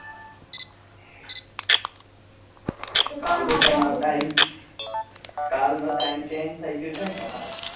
કાલ નો time change થઇ ગયો છે ને તમારે?